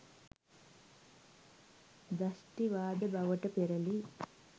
දෂ්ටිවාද බවට පෙරළී